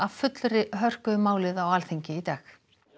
fullri hörku um málið á Alþingi í dag